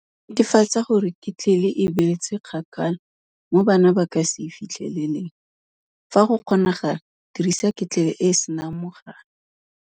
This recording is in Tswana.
Netefatsa gore ketlele e beetswe kgakala mo bana ba ka se e fitlheleleng. Fa go kgonagala dirisa ketlele e e senang mogala.